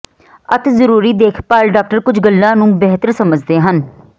ਅਤਿ ਜ਼ਰੂਰੀ ਦੇਖਭਾਲ ਡਾਕਟਰ ਕੁਝ ਗੱਲਾਂ ਨੂੰ ਬਿਹਤਰ ਸਮਝਦੇ ਹਨ